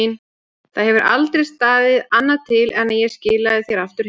Það hefur aldrei staðið annað til en að ég skilaði þér aftur heim.